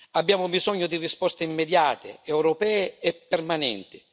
Abbiamo bisogno di risposte immediate, europee e permanenti.